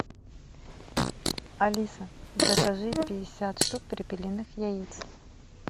алиса закажи пятьдесят штук перепелиных яиц